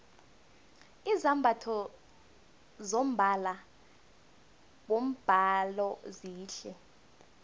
izambatho zombala wombhalo zihle